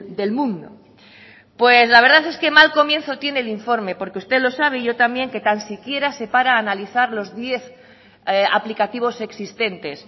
del mundo la verdad es que mal comienzo tiene el informe porque usted lo sabe y yo también que tan siquiera se para a analizar los diez aplicativos existentes